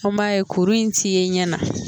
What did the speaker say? An b'a ye kuru in ti ye ɲɛ na.